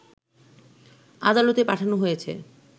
আদালতে পাঠানো হয়েছে